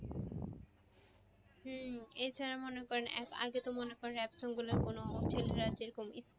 হম এছাড়া মনে করেন এক আগে মনে করেন rap song গুলো কোন ছেলেরা যেরকম